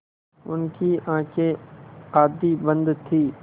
उनकी आँखें आधी बंद थीं